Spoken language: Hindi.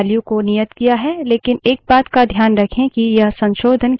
हमने कई एन्वाइरन्मन्ट variables की values को नियत किया है